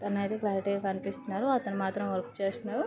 అతను మాత్రం అయితే క్లారిటీ గా కనిపిస్తున్నారు. అతను మాత్రం వర్క్ చేస్తున్నారు.